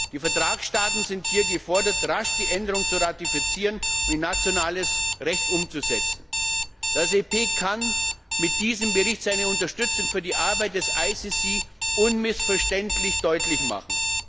Die Vertragsstaaten sind hier gefordert, rasch die Änderung zu ratifizieren und in nationales Recht umzusetzen. Das EP kann mit diesem Bericht seine Unterstützung für die Arbeit des IStGH unmissverständlich deutlich machen.